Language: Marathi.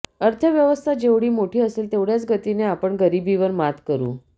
अर्थव्यवस्था जेवढी मोठी असेल तेवढ्याच गतीने आपण गरीबीवर मात करू